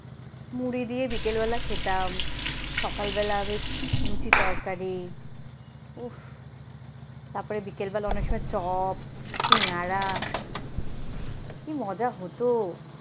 মুড়ি দিয়ে বিকেল বেলা খেতাম সকালবেলা বেশ লুচি তরকারি উফ তার পরে বিকেলবেলা অনেক সময় চপ সিঙ্গারা কি মজা হত।